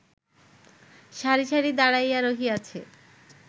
সারি সারি দাঁড়াইয়া রহিয়াছে